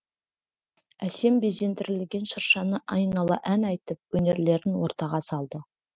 әсем безендірілген шыршаны айнала ән айтып өнерлерін ортаға салды